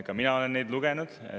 Ka mina olen neid lugenud.